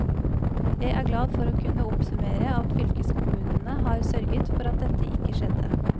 Jeg er glad for å kunne oppsummere at fylkeskommunene har sørget for at dette ikke skjedde.